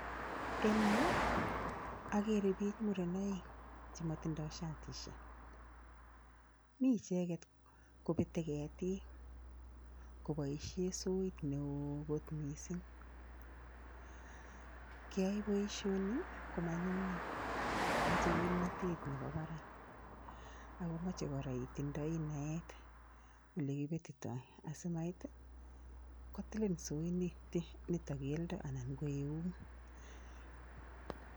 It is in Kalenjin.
Eng yu, ageere biik muren aeng chematindoi shatisiek, mi icheket kobetei ketik koboishe soit neo kot mising. Keyoe boisioni komanyumnyum machei kimnotet nebo barak ako machei kora itindoi naet ole kipetitoi asimait kotilin soit nito kelyen anan ko eunek.